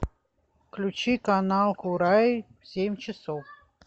включи канал курай в семь часов